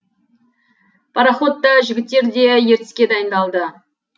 пароход та жігіттер де ертіске дайындалды